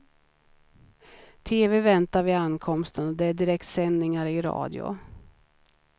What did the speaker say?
Tv väntar vid ankomsten och det är direktsändningar i radio.